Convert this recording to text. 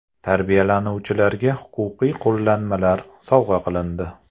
Tarbiyalanuvchilarga huquqiy qo‘llanmalar sovg‘a qilindi.